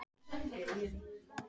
En nú er nóg!